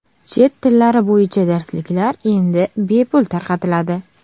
Chet tillari bo‘yicha darsliklar endi bepul tarqatiladi.